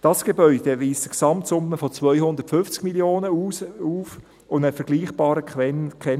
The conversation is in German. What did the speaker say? Dieses Gebäude weist eine Gesamtsumme von 250 Mio. Franken auf und einen vergleichbaren Kennwert von rund 18 000 Franken.